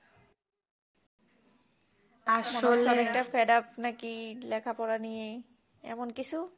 আসলে একটা fade up না কি লেখা পড়া নিয়ে এমন কিছু